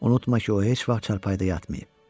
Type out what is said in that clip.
Unutma ki, o heç vaxt çarpayıda yatmayıb.